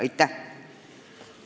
Aitäh!